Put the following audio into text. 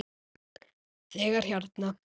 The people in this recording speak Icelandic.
Þegar hérna.